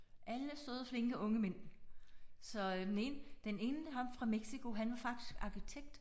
Alle søde flinke unge mænd. Så den ene den ene ham fra Mexico han var faktisk arkitekt